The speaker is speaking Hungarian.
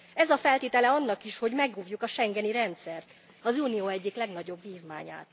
Ez a feltétele annak is, hogy megóvjuk a schengeni rendszert, az unió egyik legnagyobb vívmányát.